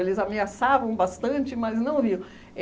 Eles ameaçavam bastante, mas não vinham.